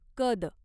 कद